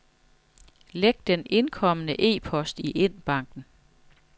Læg den indkomne e-post i indbakken.